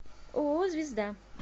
ооо звезда